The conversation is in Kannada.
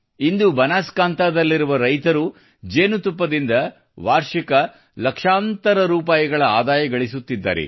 ಇಂದು ಬನಾಸ್ಕಾಂತದಲ್ಲಿರುವ ರೈತರು ಜೇನುತುಪ್ಪದಿಂದ ವಾರ್ಷಿಕ ಲಕ್ಷಾಂತರ ರೂಪಾಯಿ ಆದಾಯ ಗಳಿಸುತ್ತಿದ್ದಾರೆ